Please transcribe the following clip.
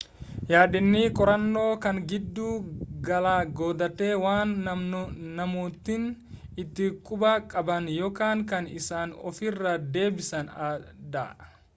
yaadni qorannoo kan giddu gala godhate waan namootni itti quba qaban yookan kan isaan ofiira deebisaan dha